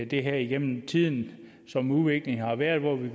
det her igennem tiden som udviklingen har været hvor vi